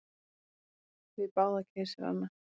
Við báða keisarana.